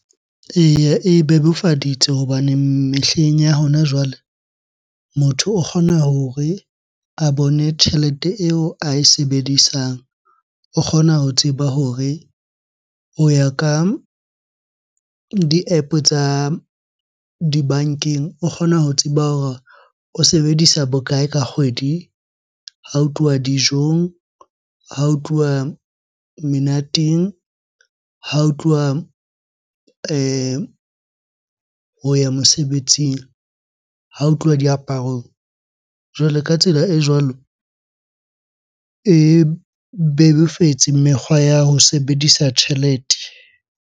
Eya, e bebofaditse hobane mehleng ya hona jwale motho o kgona hore a bone tjhelete eo ae sebedisang. O kgona ho tseba hore o ya ka di-app-o tsa dibankeng. O kgona ho tseba hore o sebedisa bokae ka kgwedi ha o tluwa dijong, ha o tluwa menateng, ha o tluwa ho ya mosebetsing, ha o tluwa diaparong. Jwalo ka tsela e jwalo, e bebofetse mekgwa ya ho sebedisa tjhelete.